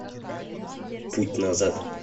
путь назад